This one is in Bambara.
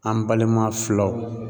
An balima filaw